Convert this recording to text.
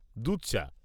দুধ চা।